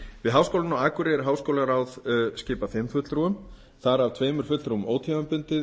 við háskólann á akureyri er háskólaráð skipað fimm fulltrúum þar af tveimur fulltrúum ótímabundið